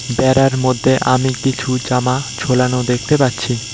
ব্যাড়ার মোদ্দে আমি কিছু জামা ঝোলানো দেকতে পাচ্ছি।